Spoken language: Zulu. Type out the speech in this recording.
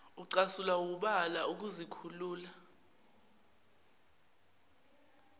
ucasulwa wubala ukuzikhulula